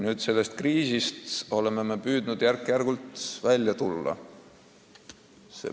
Nüüd oleme me püüdnud järk-järgult kriisist välja tulla.